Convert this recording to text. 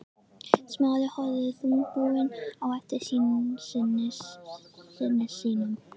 Smári horfði þungbúinn á eftir syni sínum.